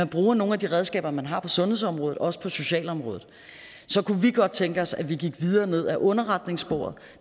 bruge nogle af de redskaber man har på sundhedsområdet også på socialområdet så kunne vi godt tænke os at vi gik videre ned ad underretningssporet